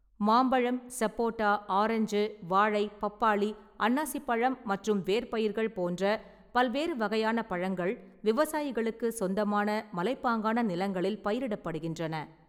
மாம்பழம், சப்போட்டா, ஆரஞ்சு, வாழை, பப்பாளி, அன்னாசிப்பழம் மற்றும் வேர்ப்பயிர்கள் போன்ற பல்வேறு வகையான பழங்கள் விவசாயிகளுக்குச் சொந்தமான மலைப்பாங்கான நிலங்களில் பயிரிடப்படுகின்றன.